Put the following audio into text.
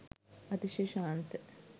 අතිශය ශාන්ත